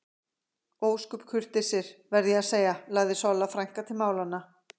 Ósköp kurteisir, verð ég að segja lagði Solla frænka til málanna.